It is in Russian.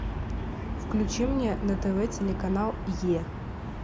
включи мне на тв телеканал е